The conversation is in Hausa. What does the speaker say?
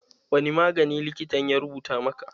Wani magani likitan ya rubuta maka?